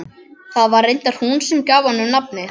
Það var reyndar hún sem gaf honum nafnið.